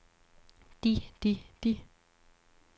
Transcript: de de de